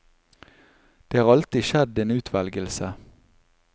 Det har alltid skjedd en utvelgelse.